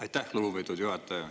Aitäh, lugupeetud juhataja!